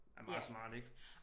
Er meget smarte ik